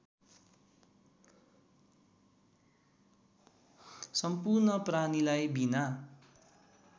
सम्पूर्ण प्राणीलाई बिना